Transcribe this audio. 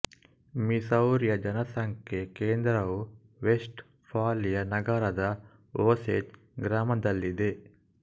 ಮಿಸೌರಿಯ ಜನಸಂಖ್ಯಾ ಕೇಂದ್ರವು Westphalia ನಗರದ ಓಸೇಜ್ ಗ್ರಾಮದಲ್ಲಿದೆ